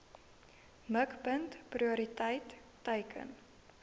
mikpunt prioriteit teiken